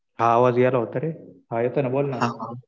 आवाज यायला वाटतं रे. हा येतोय ना बोल ना.